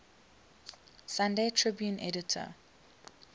sunday tribune editor